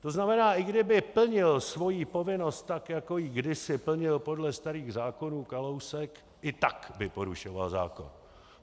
To znamená, i kdyby plnil svoji povinnost tak, jako ji kdysi plnil podle starých zákonů Kalousek, i tak by porušoval zákon.